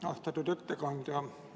Austatud ettekandja!